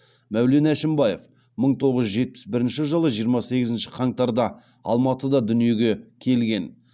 мәулен әшімбаев мың тоғыз жүз жетпіс бірінші жылы жиырма сегізінші қаңтарда алматыда дүниеге келген